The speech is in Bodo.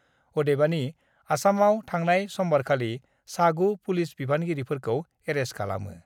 अदेबानि आसामाव थांनाय समबारखालि सा 9 पुलिस बिबानगिरिफोरखौ एरेस्ट खालामो।